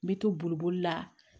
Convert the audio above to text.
N bɛ to boli la